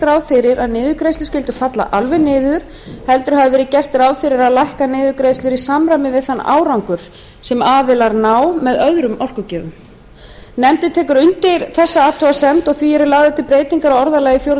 ráð fyrir að niðurgreiðslur skyldu falla alveg niður heldur hafi verið gert ráð fyrir að lækka niðurgreiðslur í samræmi við þann árangur sem aðilar ná með öðrum orkugjöfum nefndir tekur undir þessa athugasemd og því eru lagðar til breytingar á orðalagi fjórðu